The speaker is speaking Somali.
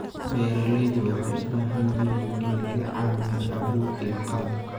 Beeralayda waxay u baahan yihiin in laga caawiyo abuur iyo qalab.